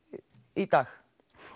í dag